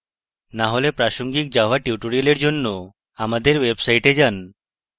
না হলে প্রাসঙ্গিক java টিউটোরিয়ালগুলির জন্য আমাদের website যান